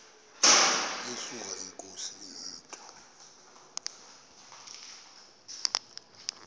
yesuka inkosi inomntu